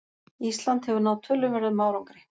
Ísland hefur náð töluverðum árangri